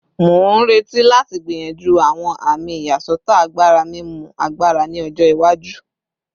Mo n reti lati gbiyanju awọn ami iyasọtọ agbara mimu agbara ni ọjọ iwaju